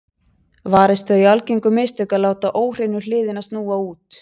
Varist þau algengu mistök að láta óhreinu hliðina snúa út.